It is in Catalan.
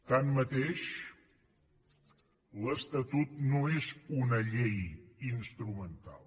tanmateix l’estatut no és una llei instrumental